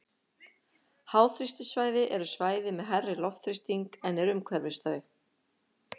Háþrýstisvæði eru svæði með hærri loftþrýsting en er umhverfis þau.